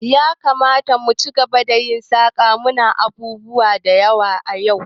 Yakamata mu ci gaba da yin saƙa, munada abubuwa da yawa yau